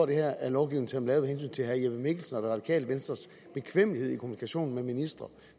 det her er lovgivning som er lavet af hensyn til herre jeppe mikkelsen og det radikale venstres bekvemmelighed i kommunikationen med ministre